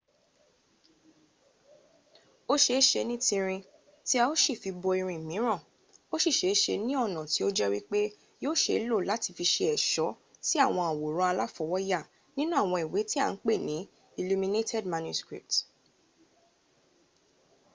o ṣeeṣe ni tinrin ti a o si fi bo irin miran o si ṣeeṣe ni ọna ti o jẹ wipe yio ṣe lo lati fi ṣe ẹṣo si awon aworan alafowoya ninu awọn iwe ti a n pe ni illuminated manuscript